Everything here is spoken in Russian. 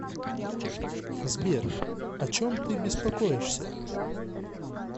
сбер о чем ты беспокоишься